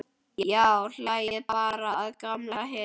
Já, hlæið bara að gamalli hetju.